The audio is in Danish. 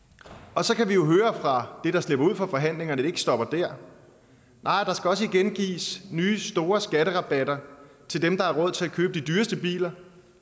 og så kan vi jo høre fra det der slipper ud fra forhandlingerne at det ikke stopper der nej der skal også igen gives nye store skatterabatter til dem der har råd til at købe de dyreste biler